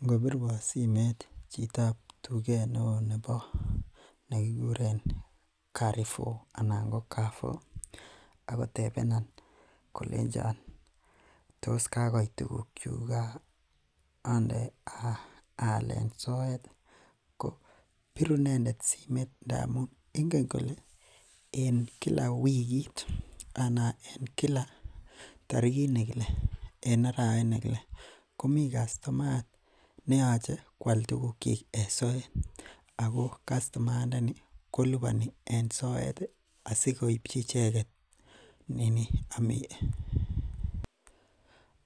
Ingobiruan simeet chitab tuget neoo nekikuren courefour tos kakoit tuguk chekande alen soet ih . Ko biru inendet simeet ngamun ingen kole en Kila wikit anan en Kila tarigit nekile komiten kastomayat neyache koal tuguk chik en soet. Ako kastomayat ndeni kolubanis en soet ih asikoipchi icheket nini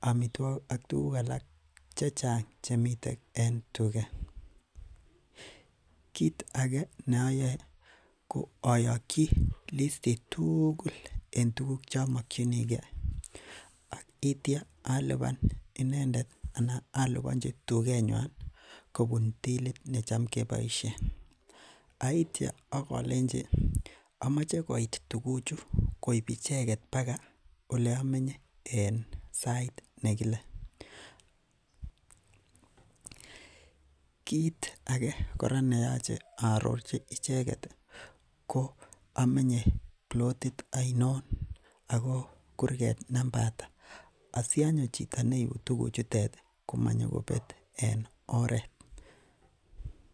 amituakik ak tuguk alak chechang chemiten en tuget kit age neayoe koayagyi listit tugul en tuguk chemokinige. Ak itia aluban anan alubanchi inendet kobun tilit necham keboisien aitia alenji amache koit tuguchutet koib icheket naga olemenye en en sait nekile . Kit age kora neyache aarorchi icheket ih ko amanye plotit ainon Ako amenye kurget namba ata. Asianyo tuguk neibu tuguk chutet komabet.